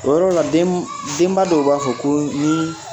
O yɔrɔ la den denba dɔw b'a fɔ ko ni